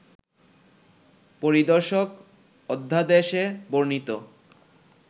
পরিদর্শক অধ্যাদেশে বর্ণিত